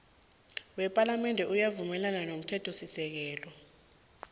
wepalamende uyavumelana nomthethosisekelo